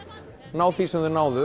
ná því sem þau náðu